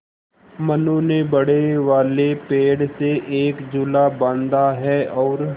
मनु ने बड़े वाले पेड़ से एक झूला बाँधा है और